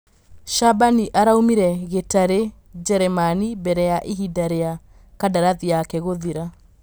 Cabanĩ araumire Gĩ tarĩ Jeremani mbere ya ihinda rĩ a kandarathi yake gũthira.